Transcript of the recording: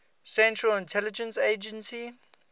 central intelligence agency